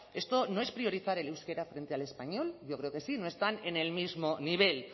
esto no es priorizar el euskera frente al español yo creo que sí no están en el mismo nivel